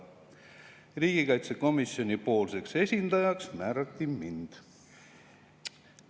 Riigikaitsekomisjoni esindajaks määrati mind.